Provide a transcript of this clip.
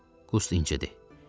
Qust incidir.